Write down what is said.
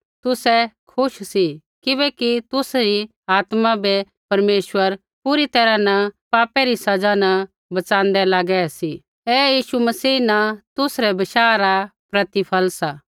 तुसै खुश सी किबैकि तुसरी आत्मा बै परमेश्वर पूरी तैरहा न पापा री सज़ा न बच़ाँदै लागै सी ऐ यीशु मसीह न तुसरै बशाह रा प्रतिफल सा